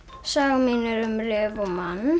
sagan mín er um